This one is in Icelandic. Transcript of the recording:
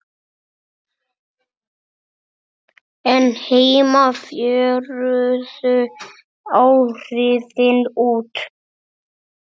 en heima fjöruðu áhrifin út.